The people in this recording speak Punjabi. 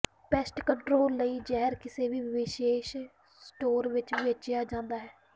ਪੈਸਟ ਕੰਟਰੋਲ ਲਈ ਜ਼ਹਿਰ ਕਿਸੇ ਵੀ ਵਿਸ਼ੇਸ਼ ਸਟੋਰ ਵਿਚ ਵੇਚਿਆ ਜਾਂਦਾ ਹੈ